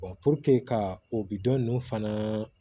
ka o bidɔ ninnu fana